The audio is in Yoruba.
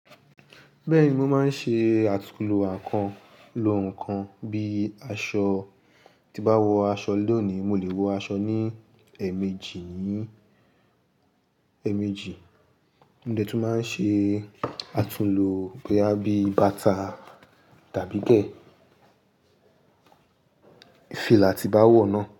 Bẹ́ẹ̀ni, mo máa ń ṣe àtúnlo àkan lo ǹkan bíi aṣọ. Ti n bá wọ aṣọ lónìí, mo lè wọ aṣọ ní ẹ̀ẹ̀mejì nìí, ẹ̀ẹ̀mejì. Mo dẹ̀ tún máa ń ṣe àtúnlo bóyá bí bàtà tàbí ke fìlà ti n bá wọ̀ náà.